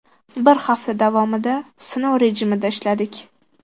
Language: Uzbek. Bir hafta davomida sinov rejimida ishladik.